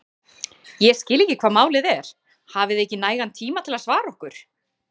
Ég skil ekki hvað málið er, hafið þið ekki nægan tíma til að svara okkur?!